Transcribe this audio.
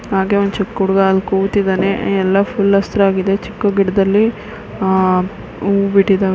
ಹಾಗೆ ಒಂದು ಚಿಕ್ ಹುಡುಗ ಅಲ್ಲಿ ಕೂತಿದಾನೆ ಎಲ್ಲ ಫುಲ್ ಹಸಿರಾಗಿದೆ ಚಿಕ್ಕ ಗಿಡದಲ್ಲಿ ಆಹ್ಹ್ ಹೂವು ಬಿಟ್ಟಿದ್ದಾವೆ .